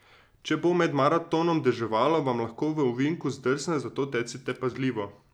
Če bo med maratonom deževalo, vam lahko v ovinku zdrsne, zato tecite pazljivo!